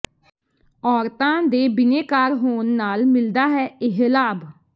ਔਰਤਾਂ ਦੇ ਬਿਨੇਕਾਰ ਹੋਣ ਨਾਲ ਮਿਲਦਾ ਹੈ ਇਹ ਲਾਭ